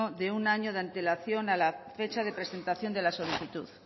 de un año de antelación a la fecha de presentación de la solicitud